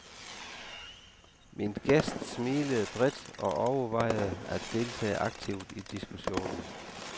Min gæst smilede bredt og overvejede at deltage aktivt i diskussionen.